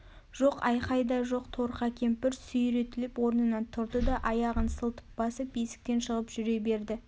жоқ айқай да жоқ торқа кемпір сүйретіліп орнынан тұрды да аяғын сылтып басып есіктен шығып жүре берді